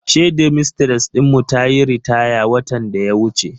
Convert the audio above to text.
Shedmistres din mu tayi ritaya watan daya wuce.